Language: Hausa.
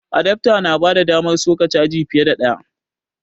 Adafta na bada damar soka caji fiye da ɗaya